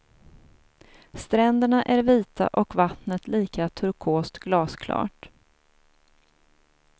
Stränderna är vita och vattnet lika turkost glasklart.